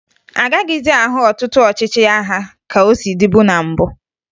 A gaghịzị ahụ ọtụtụ ọchịchị agha ka o si dịbu na mbụ